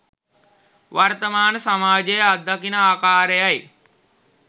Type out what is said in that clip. වර්තමාන සමාජය අත්දකින ආකාරයයි